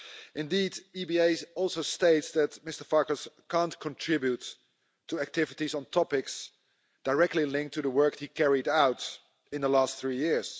Indeed, the EBA also states that Mr Farkas can't contribute to activities on topics directly linked to the work that he carried out in the last three years.